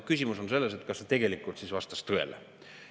Küsimus on selles, kas see siis vastas tõele.